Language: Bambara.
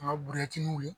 An ka